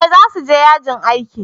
eh za su je yajin aiki